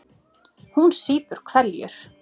Hún sýpur hveljur.